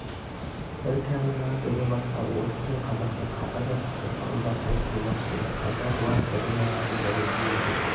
бір камераға діні басқа орыс пен қазақты қатар жатқызып ырылдастырып қоймақшы еді қайта бұлар бірі нағашы бірі жиендей